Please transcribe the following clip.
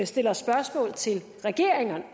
stiller spørgsmål til